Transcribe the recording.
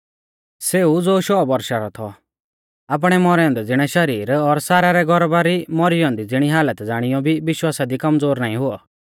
सेऊ ज़ो शौ बौरशा रौ थौ आपणै मौरै औन्दै ज़िणै शरीर और सारा रै गौरबा री मौरी औन्दी ज़िणी हालत ज़ाणीऔ भी विश्वासा दी कमज़ोर नाईं हुऔ